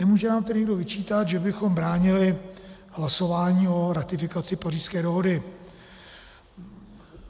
Nemůže nám tedy nikdo vyčítat, že bychom bránili hlasování o ratifikaci Pařížské dohody.